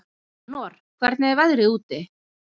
Anor, hvernig er veðrið úti?